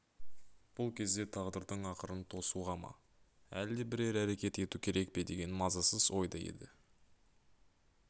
бұл кезде тағдырдың ақырын тосуға ма әлде бірер әрекет ету керек пе деген мазасыз ойда еді